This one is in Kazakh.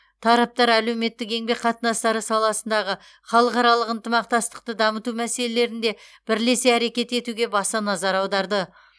тараптар әлеуметтік еңбек қатынастары саласындағы халықаралық ынтымақтастықты дамыту мәселелерінде бірлесе әрекет етуге баса назар аударды